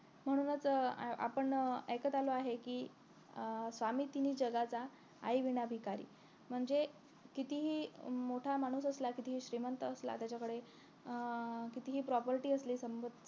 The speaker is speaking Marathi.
म्हणूनच अं आपण ऐकत आलो आहे कि अं स्वामी तिन्ही जगाचा आई विना भिकारी म्हणजे कितीही मोठा माणूस असला कितीही श्रीमंत असला त्याच्याकडे अं कीतीही property असली संबोत